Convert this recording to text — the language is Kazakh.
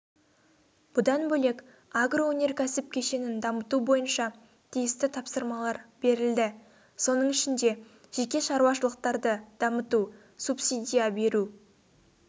бұдан бөлек агроөнеркәсіп кешенін дамыту бойынша тиісті тапсырмалар берілді соның ішінде жеке шаруашалықтарды дамыту субсидия беру